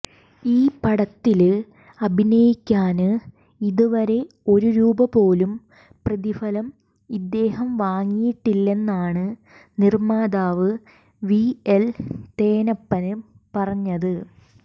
ഈ പടത്തില് അഭിനയിക്കാന് ഇതുവരെ ഒരു രൂപപോലും പ്രതിഫലം ഇദ്ദേഹം വാങ്ങിയിട്ടില്ലെന്നാണ് നിര്മ്മാതാവ് പിഎല് തേനപ്പന് പറഞ്ഞത്